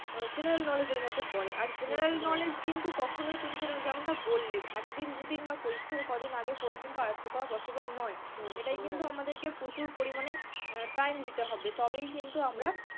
general knowledge এর মধ্যে পড়ে, আর general knowledge কিন্তু কখনোই তুমি যেমনটা বললে একদিন দুদিন বা পরীক্ষার কদিন আগে পড়ে কিন্তু আয়ত্ত করা possible নয়, এটায় কিন্তু আমাদেরকে প্রচুর পরিমাণে time দিতে হবে তবেই কিন্তু আমরা,